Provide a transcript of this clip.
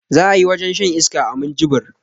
Za ayi wajen shan iska a minjibir